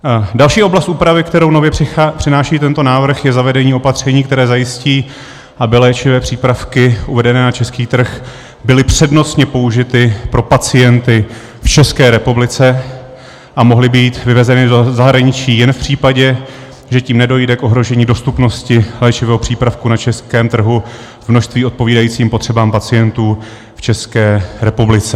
Další oblast úpravy, kterou nově přináší tento návrh, je zavedení opatření, které zajistí, aby léčivé přípravy uvedené na český trh byly přednostně použity pro pacienty v České republice a mohly být vyvezeny do zahraničí jen v případě, že tím nedojde k ohrožení dostupnosti léčivého přípravku na českém trhu v množství odpovídajícím potřebám pacientů v České republice.